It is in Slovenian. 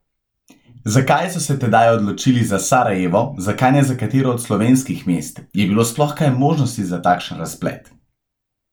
Zakaj so se tedaj odločili za Sarajevo, zakaj ne za katero od slovenskih mest, je bilo sploh kaj možnosti za takšen razplet?